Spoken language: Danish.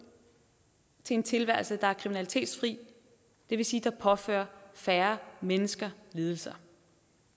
til en tilværelse der er kriminalitetsfri det vil sige påfører færre mennesker lidelser